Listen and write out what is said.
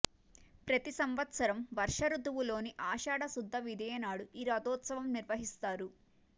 ప్రతి సంవత్సరం వర్ష రుతువులోని ఆషాఢ శుద్ధ విదియ నాడు ఈ రధోత్సవం నిర్వహిస్తారు